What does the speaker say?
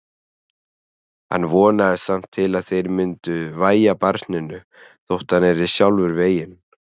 Hann vonaðist samt til að þeir myndu vægja barninu þótt hann yrði sjálfur veginn.